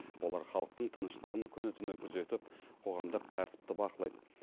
олар халықтың тыныштығын күні түні күзетіп қоғамдық тәртіпті бақылайды